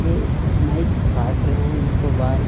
ये नाइ काट रहे हैं इनको बाल --